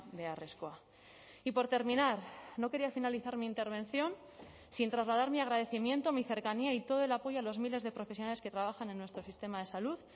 beharrezkoa y por terminar no quería finalizar mi intervención sin trasladar mi agradecimiento mi cercanía y todo el apoyo a los miles de profesionales que trabajan en nuestro sistema de salud